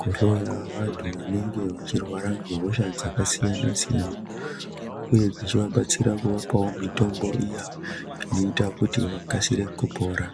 kuhloya vantu vanenge vachirwara nehosha dzakasiyana-siyana, uye dzichivabatsira kuvapawo mitombo iya ,inoita kuti vakasire kupora.